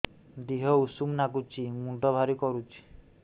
ଦିହ ଉଷୁମ ନାଗୁଚି ମୁଣ୍ଡ ଭାରି କରୁଚି